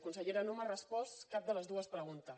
consellera no m’ha respost cap de les dues preguntes